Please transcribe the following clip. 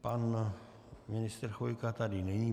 Pan ministr Chvojka tady není.